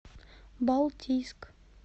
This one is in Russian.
балтийск